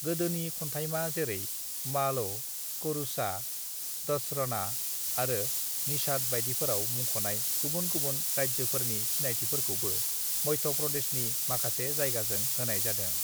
"गोदोनि खन्थाइमा जेरै मालव, करूषा, दसरना आरो निषाद बाइदिफोराव मुंखनाय गुबुन गुबुन राज्योफोरनि सिनायथिखौबो मध्य प्रदेशनि माखासे जायगाजों होनाय जादों।"